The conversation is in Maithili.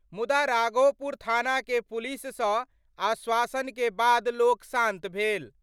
मुदा राघोपुर थाना के पुलिस सं आश्वासन के बाद लोक शान्त भेल।